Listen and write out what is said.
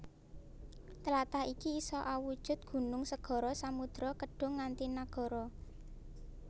Tlatah iki isa awujud gunung segara samudra kedhung nganti nagara